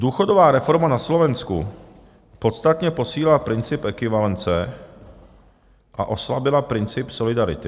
Důchodová reforma na Slovensku podstatně posílila princip ekvivalence a oslabila princip solidarity.